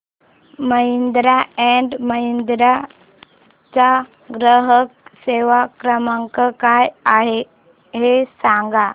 Mahindra and Mahindra चा ग्राहक सेवा क्रमांक काय आहे हे सांगा